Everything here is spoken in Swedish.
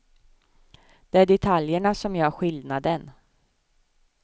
Det är detaljerna som gör skillnaden.